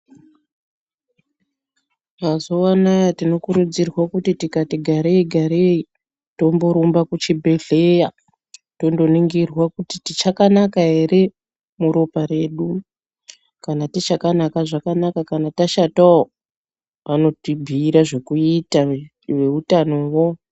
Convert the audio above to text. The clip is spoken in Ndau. Mazuwa anaya tinokurudzirwa kuti tikati garei garei, tomborumba kuchibhehleya, tondoningirwa kuti tichakanaka ere murooa redu kana tichakanaka zvakanaka kana tashatawo vanotibhuira zvekuita veutanowo.